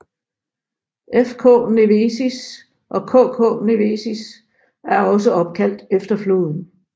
FK Nevėžis og KK Nevėžis er også opkaldt efter floden